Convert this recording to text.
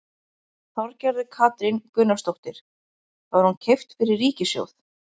Þorgerður Katrín Gunnarsdóttir: Var hún keypt fyrir ríkissjóð?